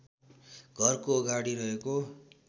घरको अगाडि रहेको